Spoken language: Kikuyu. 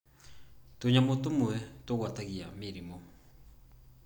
Tũnyamũ tũmwe tũgwatagia mĩrimũ.